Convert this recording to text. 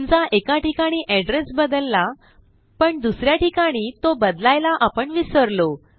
समजा एका ठिकाणी एड्रेस बदलला पण दुस या ठिकाणी तो बदलायला आपण विसरलो